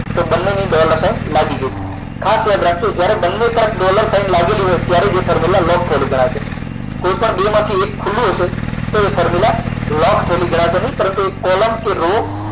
તો બંનેની dollar sign લાગી ગઈ છે ખાસ યાદ રાખજો જ્યારે બંને પર ડોલર સાઈન લાગેલી હોય ત્યારે જે formula લોક થયેલી ગણાશે કોઈ પણ બેમાંથી એક ખુલ્લું હશે તો એ formula લોક થયેલી ગણાશે નહીં પરંતુ કોલમ કે રો